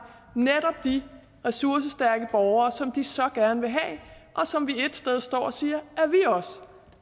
netop de ressourcestærke borgere som de så gerne vil have og som vi ét sted står og siger at vi også